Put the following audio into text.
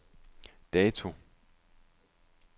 dato